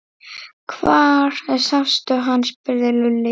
Hvar sástu hann? spurði Lúlli.